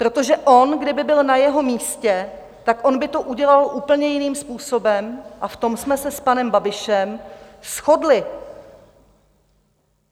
Protože on kdyby byl na jeho místě, tak on by to udělal úplně jiným způsobem, a v tom jsme se s panem Babišem shodli.